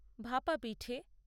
ভাপা পিঠে